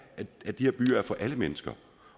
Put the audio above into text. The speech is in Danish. at de her byer er for alle mennesker